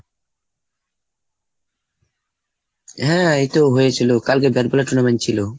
হ্যাঁ এইতো হয়েছিল। কালকে bat ball এর tournament ছিল।